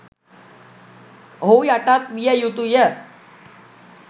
ඔහු යටත් විය යුතුය